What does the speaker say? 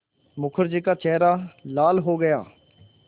मुखर्जी का चेहरा लाल हो गया